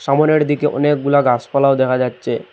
সামোনের দিকে অনেকগুলা গাসপালাও দেখা যাচ্ছে।